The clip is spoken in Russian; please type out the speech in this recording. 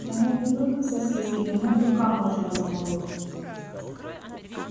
на нём не только сосиски на нём быка можно разморозить